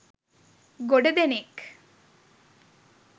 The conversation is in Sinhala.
ගොඩ දෙනෙක්